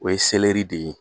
O ye seleri de ye.